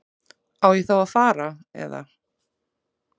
Á ég þá að fara. eða?